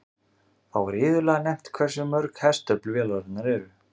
Þá er iðulega nefnt hversu mörg hestöfl vélarnar eru.